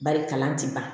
Bari kalan ti ban